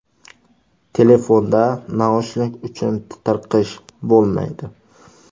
Telefonda naushnik uchun tirqish bo‘lmaydi.